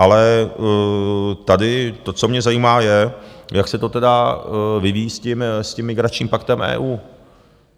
Ale tady to, co mě zajímá, je, jak se to tedy vyvíjí s tím migračním paktem EU.